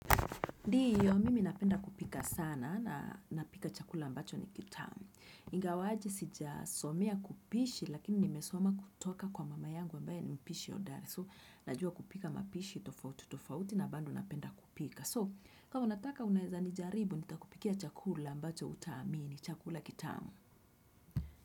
Ndio, mimi napenda kupika sana na napika chakula ambacho ni kitamu. Ingawaje sijasomea kupishi lakini nimesoma kutoka kwa mama yangu ambaye ni mpishi hodari. So, najua kupika mapishi, tofautitofauti na bado napenda kupika. So, kama unataka unaweza nijaribu, nitakupikia chakula ambacho hutaamini, chakula kitamu.